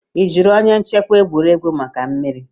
Ị jụrụ onye nchịkwa egwuregwu maka mmiri?